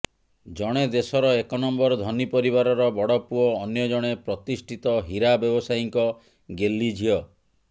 ଜଣେ ଦେଶର ଏକ ନମ୍ବର ଧନୀ ପରିବାରର ବଡ଼ ପୁଅ ଅନ୍ୟଜଣେ ପ୍ରତିଷ୍ଠିତ ହୀରା ବ୍ୟବସାୟୀଙ୍କ ଗେହ୍ଲି ଝିଅ